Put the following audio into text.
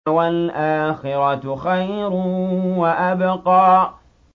وَالْآخِرَةُ خَيْرٌ وَأَبْقَىٰ